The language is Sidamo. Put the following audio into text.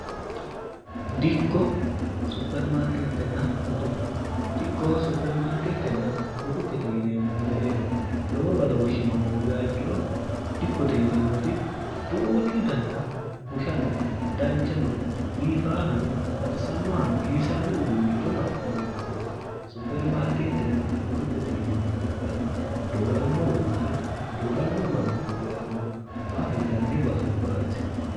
dikko suermretenn botukedikko supermarkeettenna botu kete yineemmo mereero lowo badooshshino hoogaa ikkiro dikkote yineemmoti tu uuchu daniha bushano danchano biifaahano baxisannohano giwisanno uduunnichon afi'neemo baseeti supermaarkeettenna botukkete yineemmot kayinni dooramino uduunne dooramino manni uddi'rannoha hirranni basubbaati